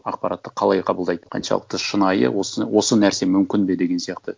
ақпаратты қалай қабылдайды қаншалықты шынайы осы нәрсе мүмкін бе деген сияқты